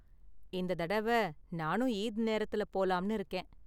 இந்த தடவ நானும் ஈத் நேரத்துல போலாம்னு இருக்கேன்.